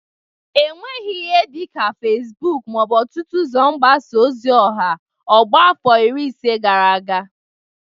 O nwereghi ihe dịka Fesbụk ma ọ bụ ọtụtụ ụzọ mgbasa ozi ọha ọgbọ a afọ iri ise gara aga.